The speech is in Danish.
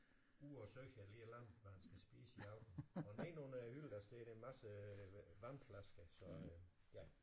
Ude og søge eller et eller andet hvad han skal spise i aften og nedenunder hylden der står der en masse vandflasker så øh ja